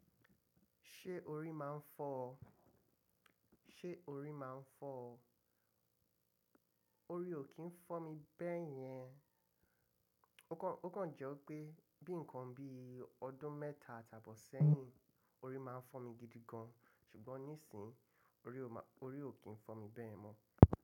Ṣé orí máa ń fọ́ ọ? Sé orí máa ń fọ́ ọ? Orí ò kí ń fọ́ mi bẹ́yẹn. Ó kàn jẹ́ pé bí nǹkan bí ọdún mẹ́ta àtabọ̀ sẹ́yìn, orí máa ń fọ́ mi gidi gan, ṣùgbọ́n nísín orí ò kí ń fọ́ mi bẹ́ẹ̀ mọ́.